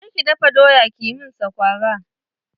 Je ki dafa doya ki min saƙwara!